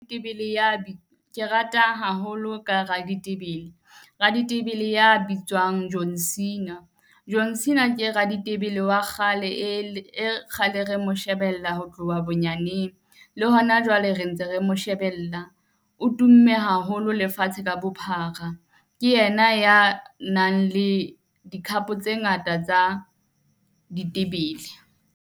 Ke rata haholo ka raditebele, raditebele ya bitswang John Cena. John Cena ke raditebele wa kgale e e kgale re mo shebella ho tloha bonyaneng, le hona jwale re ntse re mo shebella. O tumme haholo lefatshe ka bophara. Ke yena ya nang le di-cup tse ngata tsa ditebele.